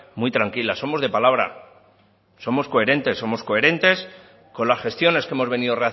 tranquila somos de palabra somos coherentes con las gestiones que hemos venido